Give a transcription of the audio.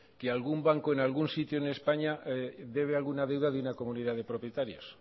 que algún banco en algún sitio en españa debe alguna deuda de una comunidad de propietarios